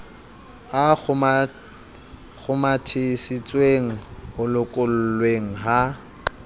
a kgomathisitsweng ho lokollweng ha